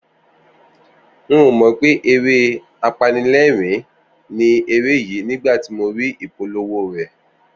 N ò mọ̀ pé eré apanilẹ́rìn-ín ni eré yìí nígbà tí mo rí ìpolówó rẹ̀